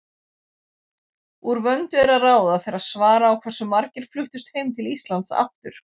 Úr vöndu er að ráða þegar svara á hversu margir fluttust heim til Íslands aftur.